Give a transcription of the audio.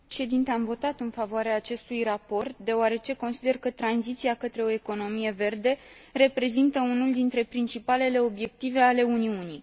Am votat în favoarea acestui raport, deoarece consider că tranziția către o economie verde reprezintă unul dintre principalele obiective ale Uniunii.